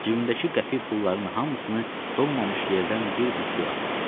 Cibimdəki qəpik pulların hamısını donmamış yerdən bir-bir suya atdım.